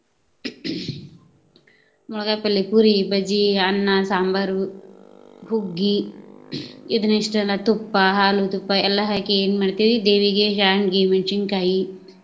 , ಪುರಿ, ಬಜಿ, ಅನ್ನಾ, ಸಾಂಬಾರು, ಹುಗ್ಗಿ ಇದನಿಷ್ಟಲ್ಲ ತುಪ್ಪ, ಹಾಲು, ತುಪ್ಪ ಎಲ್ಲಾ ಹಾಕಿ ಏನ ಮಾಡ್ತೇವಿ ದೇವಿಗೆ ಶಾಂಡಗಿ, ಮೆಣ್ಶಿನ್ ಕಾಯಿ.